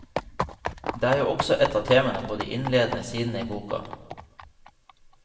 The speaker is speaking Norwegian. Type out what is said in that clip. Det er jo også et av temaene på de innledende sidene i boka.